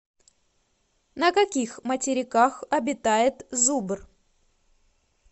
на каких материках обитает зубр